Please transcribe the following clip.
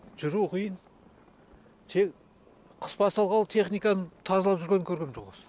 жүру қиын тек қыс басталғалы техниканың тазалап жүргенін көргем жоқ осы